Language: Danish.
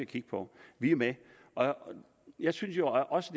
kigge på vi er med jeg synes jo også